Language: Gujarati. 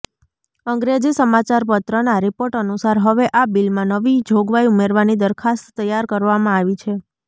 અંગ્રેજી સમાચારપત્રનાં રિપોર્ટ અનુસાર હવે આ બિલમાં નવી જોગવાઈ ઉમેરવાની દરખાસ્ત તૈયાર કરવામાં આવી છે